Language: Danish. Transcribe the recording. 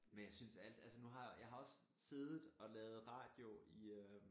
Men jeg synes alt altså nu har jeg jeg har også siddet og lavet radio i øh